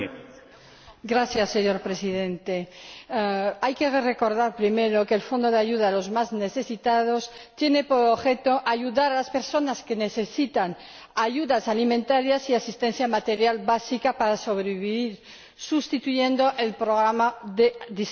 Señor Presidente, hay que recordar, en primer lugar, que el Fondo de Ayuda Europea para los Más Necesitados tiene por objeto ayudar a las personas que necesitan ayudas alimentarias y asistencia material básica para sobrevivir, sustituyendo al programa de distribución de alimentos.